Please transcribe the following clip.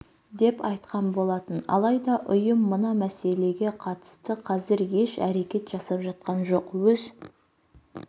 деп айтқан болатын алайда ұйым мына мәселеге қатысты қазір еш әрекет жасап жатқан жоқ өз